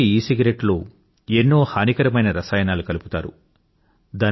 నిజానికి ఈసిగరెట్టు లో ఎన్నో హానికరమైన రసాయనాలు కలుపుతారు